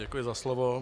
Děkuji za slovo.